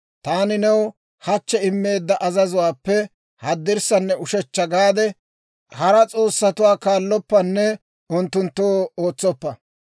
Taani new hachchi immeedda azazuwaappe haddirssanne ushechcha gaade, hara s'oossatuwaa kaalloppanne unttunttoo ootsoppa.